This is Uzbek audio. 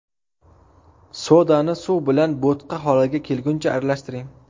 Sodani suv bilan bo‘tqa holiga kelguncha aralashtiring.